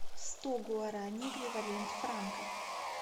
сто гуараней эквивалент в франках